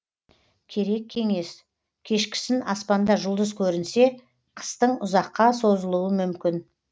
керек кеңес кешкісін аспанда жұлдыз көрінсе қыстың ұзаққа созылуы мүмкін